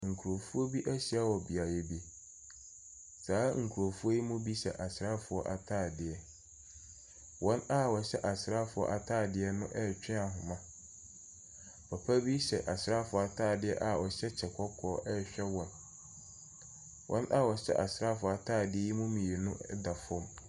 Nkurɔfoɔ bi ahyia wɔ beaeɛ bi. Saa nkurɔfoɔ yi mu bi hyɛ asraafoɔ ataadeɛ. Wɔn a wɔhyɛ asraafoɔ ataadeɛ no retwe ahoma. Papa bi hyɛ asraafoɔ ataadeɛ a ɔhyɛ kyɛ kɔkɔɔ rehwɛ wɔn. Wɔn a wɔhyɛ asraafoɔ ataadeɛ yi mu mmienu da fam.